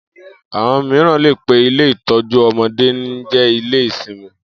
Àwo̩n mìíràn lè pe ilé ìtó̩jú o̩mo̩dé ní jé̩-ilé-simi